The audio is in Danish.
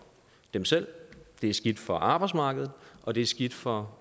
dem selv det er skidt for arbejdsmarkedet og det er skidt for